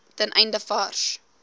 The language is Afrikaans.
ten einde vars